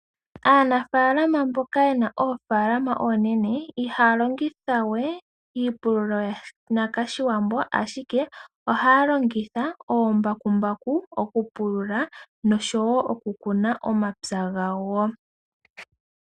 Aanafalama mboka ye na oofalama oonene ihaya longithawe iipululo mbyoka yanakaShiwambo ashike ohaya longitha ombakumbaku okupulula nosho wo okukuna omapya gawo .